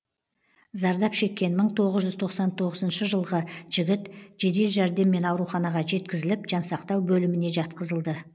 зардап шеккен мың тоғыз жүз тоқсан тоғызыншы жылғы жігіт жедел жәрдеммен ауруханаға жеткізіліп жансақтау бөліміне жатқызылды